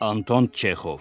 Anton Çexov.